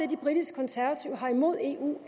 de britiske konservative har imod eu